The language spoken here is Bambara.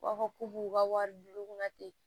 U b'a fɔ k'u b'u ka wari di u kunna ten